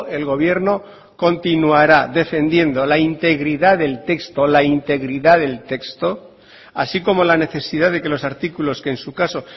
el gobierno continuará defendiendo la integridad del texto la integridad del texto así como la necesidad de que los artículos que en su caso